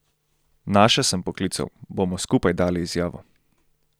Naše sem poklical, bomo skupaj dali izjavo.